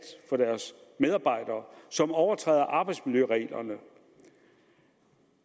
for deres medarbejdere og som overtræder arbejdsmiljøreglerne